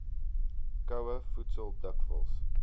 koue voedsel dikwels